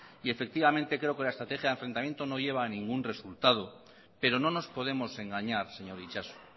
y efectivamente creo que la estrategia del enfrentamiento no lleva a ningún resultado pero no nos podemos engañar señor itxaso